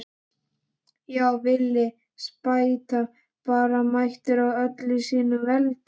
Já, Villi spæta bara mættur í öllu sínu veldi!